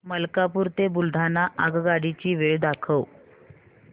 मलकापूर ते बुलढाणा आगगाडी ची वेळ दाखव